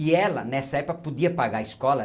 E ela, nessa época, podia pagar a escola.